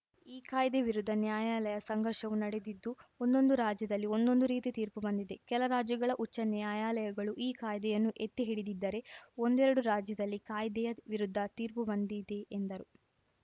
ಈ ಕಾಯ್ದೆ ವಿರುದ್ಧ ನ್ಯಾಯಾಲಯ ಸಂಘರ್ಷವೂ ನಡೆದಿದ್ದು ಒಂದೊಂದು ರಾಜ್ಯದಲ್ಲಿ ಒಂದೊಂದು ರೀತಿ ತೀರ್ಪು ಬಂದಿದೆ ಕೆಲ ರಾಜ್ಯಗಳ ಉಚ್ಚ ನ್ಯಾಯಾಲಯಗಳು ಈ ಕಾಯ್ದೆಯನ್ನು ಎತ್ತಿಹಿಡಿದ್ದಿರೆ ಒಂದೆರಡು ರಾಜ್ಯದಲ್ಲಿ ಕಾಯ್ದೆಯ ವಿರುದ್ಧ ತೀರ್ಪು ಬಂದಿದೆ ಎಂದರು